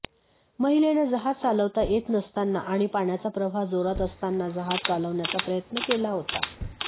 महिलेनं जहाज चालवता येत नसतांना आणि पाण्याचा प्रवाह जोरात असताना जहाज चालवण्याचा प्रयत्न केला होता